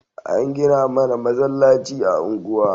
An gina mana masallaci a unguwa